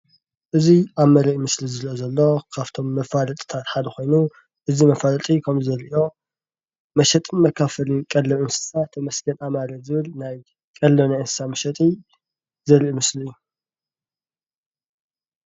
እዚ ኣብ መለይ ምስሊ ዝረአ ዘሎ ካብቶም መፋለጢታት ሓደ ኮይኑ እዚ መፋለጢ ከምዘሎ መሸጥን መከፋፈልን ቀለብ እንስሳ ተመስገን አማረ ዝብል ቀለብ ናይ እንስሳ መሸጢ ዘርኢ ምስሊ እዩ።